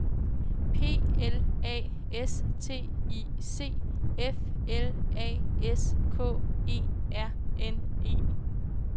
P L A S T I C F L A S K E R N E